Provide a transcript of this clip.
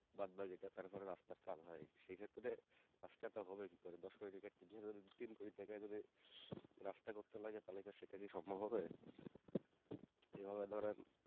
বাদবাকি টা তারপর রাস্তার কাজ হয় সেই ক্ষেত্রে রাস্তা টা হবে কি করে দশ কোটি টাকা tender হলে তিন কোটি টাকাই যদি রাস্তা করতে লাগে তাইলে আর সেটা কি সম্ভব হবে